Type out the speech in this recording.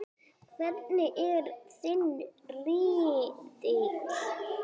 Hvernig er þinn riðill?